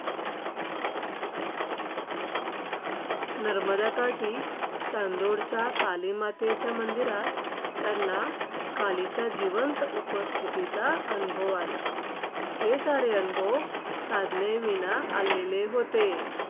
नर्मदाकाठी चांदोडच्या कालीमातेचे मंदिरात त्यांना कालीच्या जिवंत उपस्थितीचा अनुभव आला. हे सारे अनुभव साधनेविना आलेले होते.